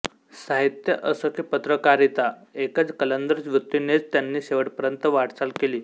साहित्य असो की पत्रकारिता एका कलंदर वृत्तीनेच त्यांनी शेवटपर्यंत वाटचाल केली